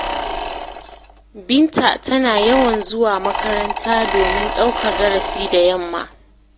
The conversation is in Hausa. Binta tana yawan zuwa makaranta domin ɗaukar darasi da yamma.